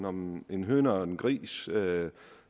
om en høne og en gris